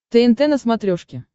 тнт на смотрешке